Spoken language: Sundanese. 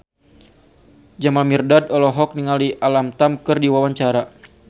Jamal Mirdad olohok ningali Alam Tam keur diwawancara